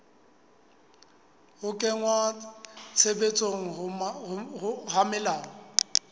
ho kenngwa tshebetsong ha melao